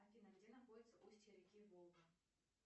афина где находится устье реки волга